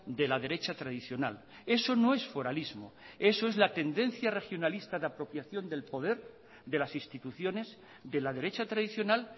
de la derecha tradicional eso no es foralismo eso es la tendencia regionalista de apropiación del poder de las instituciones de la derecha tradicional